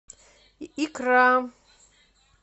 икра